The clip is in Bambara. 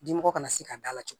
Dimɔgɔ kana se ka d'a la cogo di